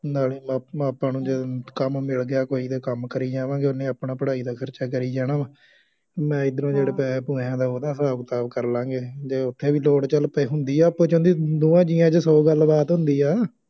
ਨਾਲੇ ਆਪ ਆਪਾਂ ਨੂੰ ਜਦੋਂ ਕੰਮ ਮਿਲ ਗਿਆ ਕੋਈ ਅਤੇ ਕੰਮ ਕਰੀ ਜਾਵਾਂਗੇ, ਉਹਨੇ ਆਪਣਾ ਪੜ੍ਹਾਈ ਦਾ ਖਰਚਾ ਕਰੀ ਜਾਣਾ ਵਾ, ਮੈਂ ਇੱਧਰੋਂ ਜਿਹੜੇ ਪੈਸਿਆ ਪੂਸਿਆਂ ਦਾ ਉਹਦਾ ਹਿਸਾਬ ਕਿਤਾਬ ਕਰ ਲਾਂ ਗੇ ਅਸੀਂ, ਜੇ ਉੱਥੇ ਵੀ ਦੌੜ ਚੱਲ ਪਏ, ਹੰਦੀ ਆ ਆਪਸ ਚ ਦੀ ਦੋਹਾਂ ਜੀਆਂ ਚ ਸੌ ਗੱਲਬਾਤ ਹੁੰਦੀ ਆ